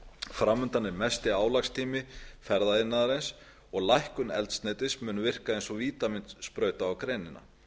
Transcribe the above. fram undan er mesti álagstími ferðaiðnaðarins og lækkun eldsneytis mun virka eins og vítamínsprauta á greinina